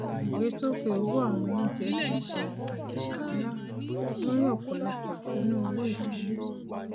ìgbésókè owó àwọn oúnjẹ ti di àjàgà ńlá lórí ọpọlọpọ ìṣúná owó ìdílé